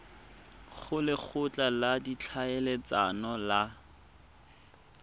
go lekgotla la ditlhaeletsano le